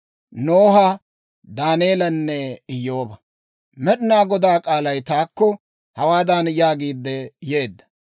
Med'inaa Godaa k'aalay taakko hawaadan yaagiidde yeedda;